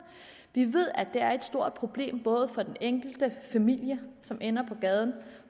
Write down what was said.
vi ved at det er et stort problem både for den enkelte familie som ender på gaden